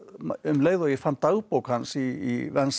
um leið og ég fann dagbók hans í